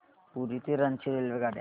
पुरी ते रांची रेल्वेगाड्या